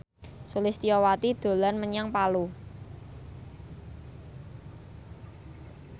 Sulistyowati dolan menyang Palu